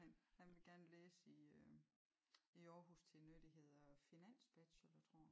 Han han vil gerne læse i øh i Aarhus til noget det hedder finansbachelor tror a